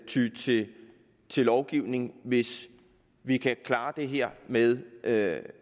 ty til til lovgivning hvis vi kan klare det her med at